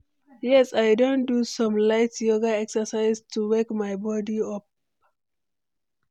Yes, i don do some light yoga exercise to wake my body up.